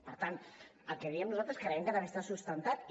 per tant el que diem nosaltres creiem que també està sustentat i